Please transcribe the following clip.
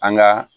An ga